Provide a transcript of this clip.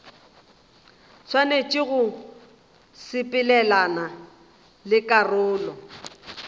swanetše go sepelelana le karolo